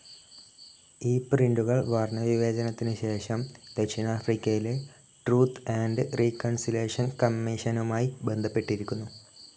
ഈ പ്രിന്റുകൾ വർണ്ണവിവേചനത്തിനു ശേഷം, ദക്ഷിണാഫ്രിക്കയിലെ ട്രൂത്ത്‌ ആൻഡ്‌ റീകൺസിലേഷൻ കമ്മീഷനുമായി ബന്ധപ്പെട്ടിരിക്കുന്നു.